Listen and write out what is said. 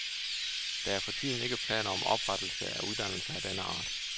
Der er for tiden ikke planer om oprettelse af uddannelser af denne art.